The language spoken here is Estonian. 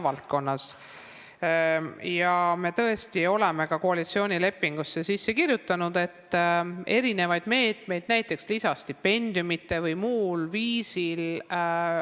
Haridus- ja Teadusministeerium on kaalumas eri meetmeid, näiteks lisastipendiume või mingit muud viisi.